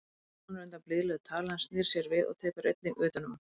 Hún bráðnar undan blíðlegu tali hans, snýr sér við og tekur einnig utan um hann.